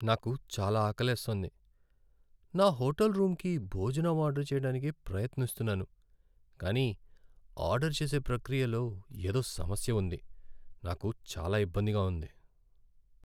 నాకు చాలా ఆకలేస్తోంది, నా హోటల్ రూమ్కి భోజనం ఆర్డర్ చేయడానికి ప్రయత్నిస్తున్నాను, కానీ ఆర్డర్ చేసే ప్రక్రియలో ఎదో సమస్య ఉంది, నాకు చాలా ఇబ్బందిగా ఉంది.